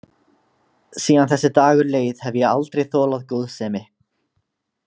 Síðan þessi dagur leið hef ég aldrei þolað góðsemi.